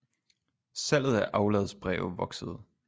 Salget af afladsbreve voksede